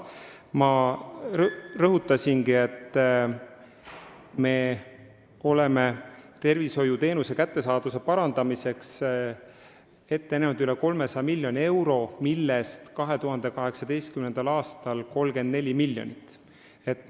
Ma rõhutasin, et me oleme tervishoiuteenuste kättesaadavuse parandamiseks ette näinud üle 300 miljoni euro, millest 2018. aastal eraldatakse 34 miljonit.